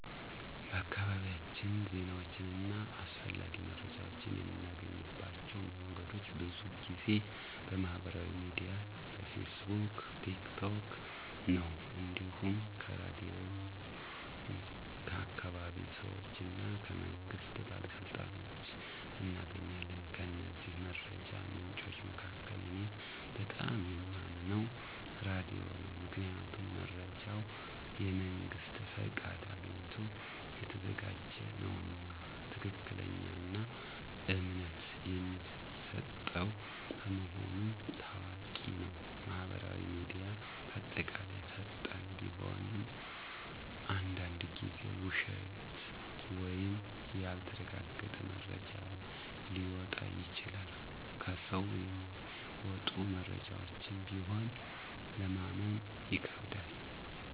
በአካባቢያችን ዜናዎችን እና አስፈላጊ መረጃዎችን የምናገኝባቸው መንገዶች ብዙ ጊዜ በማህበራዊ ሚዲያ (በፌስቡክ፣ ቲክ ቶክ) ነው። እንዲሁም ከራድዮን፣ ከአካባቢ ሰዎች እና ከመንግስት ባለሥልጣኖች እናገኛለን። ከእነዚህ መረጃ ምንጮች መካከል እኔ በጣም የማምነው ራዲዮ ነው። ምክንያቱም መረጃው የመንግስት ፍቃድ አግኝቶ የተዘጋጀ ነውና፣ ትክክለኛና እምነት የሚሰጠው በመሆኑ ታዋቂ ነው። ማህበራዊ ሚዲያ በአጠቃላይ ፈጣን ቢሆንም አንዳንድ ጊዜ ውሸት ወይም ያልተረጋገጠ መረጃ ሊወጣ ይችላል። ከሰው የሚመጡ መረጃዎችም ቢሆን ለማመን ይከብዳል።